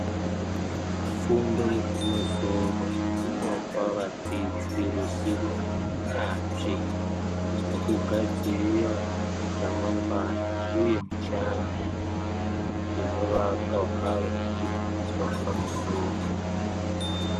Fundo yekumusoro inopa vadzidzi ruzivo yanzvi rekugadzirira ramangwana uye mushando inovaka ugare hwekuti vepamusoro.